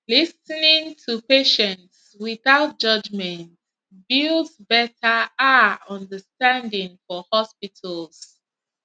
lis ten ing to patients without judgment builds betta ah understanding for hospitals